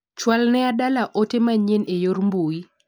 Chwal ne Adalla ote manyien e yor mbui.